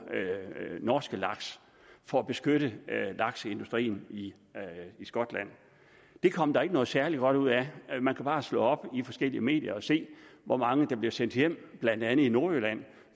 norske laks for at beskytte lakseindustrien i skotland det kom der ikke noget særlig godt ud af man kan bare slå op i forskellige medier og se hvor mange der blev sendt hjem blandt andet i nordjylland